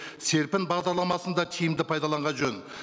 серпін бағдарламасын да тиімді пайдаланған жөн